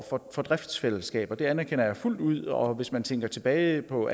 for driftsfællesskaber det anerkender jeg fuldt ud og hvis man tænker tilbage på